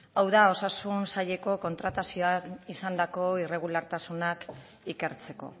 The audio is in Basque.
hau da osasun saileko kontratazioan izandako irregulartasunak ikertzeko